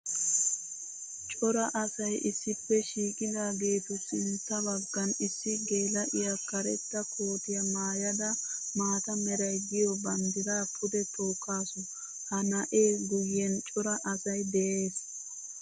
Cora asay issippe shiiqqiddagettu sintta bagan issi geela'iya karetta koottiya maayadda maata meray de'iyo banddira pude tookkassu. Ha na'ee guyen cora asay de'ees.